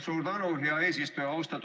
Suur tänu, hea eesistuja!